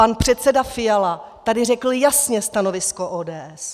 Pan předseda Fiala tady řekl jasně stanovisko ODS.